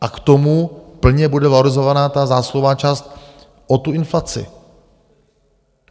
A k tomu plně bude valorizována ta zásluhová část o tu inflaci.